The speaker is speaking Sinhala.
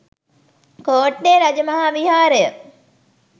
කෝට්ටේ රජ මහා විහාරය